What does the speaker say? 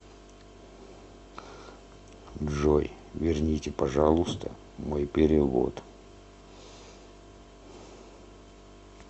джой верните пожалуйста мой перевод